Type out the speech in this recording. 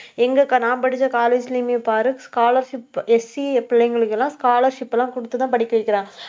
எங்ககா, நான் படிச்ச college லயுமே பாரு scholarshipSC பிள்ளைங்களுக்கு எல்லாம் scholarship எல்லாம் கொடுத்துதான் படிக்க வைக்கிறாங்க